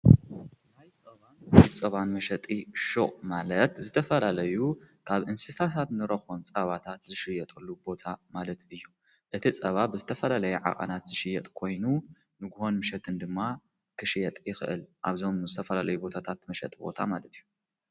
ናይባን ይጸባን መሸጢ ሾ ማለት ዝተፈላለዩ ካብ እንስታሳት ንረኾም ጻባታት ዝሽየጠሉ ቦታ ማለት እዩ እቲ ጸባ ብዝተፈላለይ ዓቐናት ዝሽየጥ ኮይኑ ንግሆን ምሸትን ድማ ክሽየጥ ይኽእል ኣብዞም ምዝተፈላለይ ቦታታት መሸጥ ቦታ ማለት እዩ።